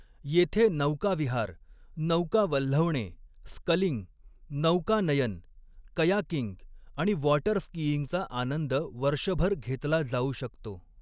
येथे नौकाविहार, नौका वल्हवणे, स्कलिंग, नौकानयन, कयाकिंग आणि वॉटर स्कीईंगचा आनंद वर्षभर घेतला जाऊ शकतो.